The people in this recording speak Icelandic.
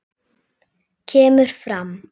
kemur fram